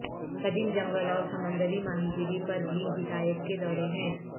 قدیم جنگل اور سمندری ماہی گیری پر بھی ہدایت کے دورے ہیں